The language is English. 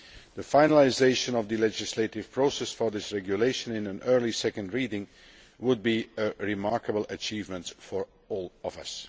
The finalisation of the legislative process for this regulation in an early second reading would be a remarkable achievement for all of us.